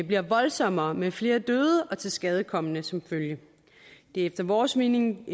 bliver voldsommere med flere døde og tilskadekomne som følge efter vores mening